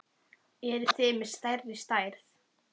Eruð þið með stærri stærð?